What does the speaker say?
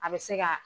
A bɛ se ka